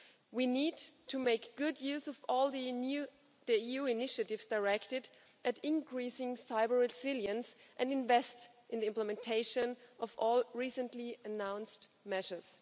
We need to make good use of all the EU initiatives directed at increasing cyber resilience and invest in the implementation of all recently announced measures.